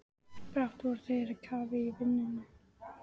Brátt voru þeir á kafi í vinnunni.